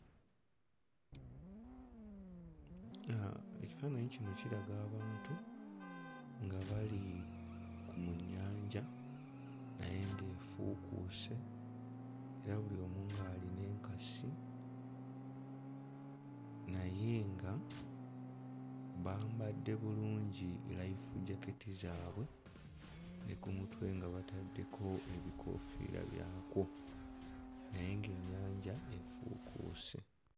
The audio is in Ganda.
Uh ekifaananyi kino kiraga abantu nga bali ku nnyanja naye ng'efuukuuse era buli omu ng'alina enkasi naye nga bambadde bulungi life jacket zaabwe ne ku mutwe nga bataddeko ebikoofiira byakwo naye ng'ennyanja efuukuuse.